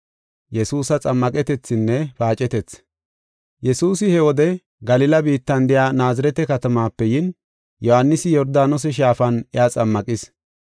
Yesuusi he wode Galila biittan de7iya Naazirete katamaape yin, Yohaanisi Yordaanose Shaafan iya xammaqis.